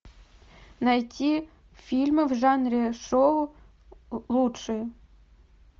найти фильмы в жанре шоу лучшие